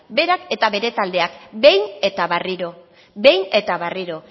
berak eta bere taldeak behin eta berriro behin eta berriro